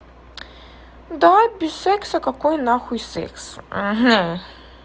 давай без секса какой нахуй секс